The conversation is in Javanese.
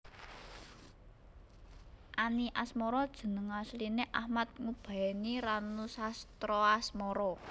Any Asmara jeneng asline Achmad Ngubaeni Ranusastraasmara